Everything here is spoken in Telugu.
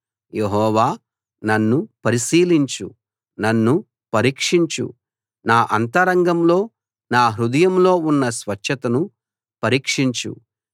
యెహోవా నన్ను పరిశీలించు నన్ను పరీక్షించు నా అంతరంగంలో నా హృదయంలో ఉన్న స్వచ్ఛతను పరీక్షించు